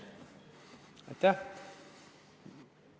Aitäh!